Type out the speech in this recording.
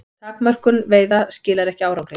Takmörkun veiða skilar ekki árangri